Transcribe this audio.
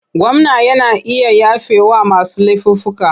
Gwamna yana iya yafewa masu laifuffuka.